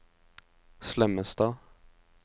Slemmestad